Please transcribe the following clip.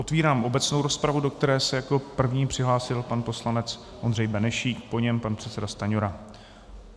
Otevírám obecnou rozpravu, do které se jako první přihlásil pan poslanec Ondřej Benešík, po něm pan předseda Stanjura.